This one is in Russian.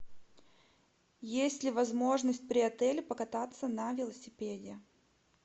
есть ли возможность при отеле покататься на велосипеде